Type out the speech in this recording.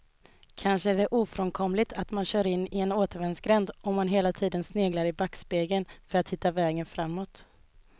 Kanske är det ofrånkomligt att man kör in i en återvändsgränd om man hela tiden sneglar i backspegeln för att hitta vägen framåt.